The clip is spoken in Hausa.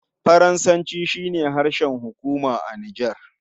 Faransanci shi ne harshen hukuma a Nijar.